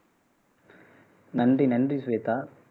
நன்றி நன்றி சுவேதா